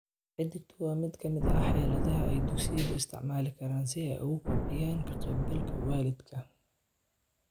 Xidhiidhku waa mid ka mid ah xeeladaha ay dugsiyadu isticmaali karaan si ay u kobciyaan ka-qaybgalka waalidka.